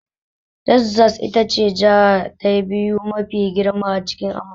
Texas ita ce jiha ta biyu mafi girma a cikin Amurka.